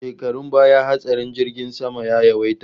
Shekarun baya hatsarin jirgin sama ya yawaita